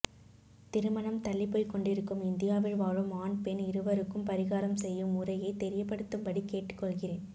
திருமணம் தள்ளி போய் கொண்டிருக்கும் இந்தியாவில் வாழும் ஆண் பெண் இருவருக்கும் பரிகாரம் செய்யும் முறையை தெரியபடுத்தும் படி கேட்டுகொள்கிறேன்